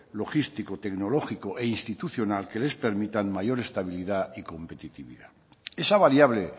logístico tecnológico e institucional que les permita mayor estabilidad y competitividad esa variable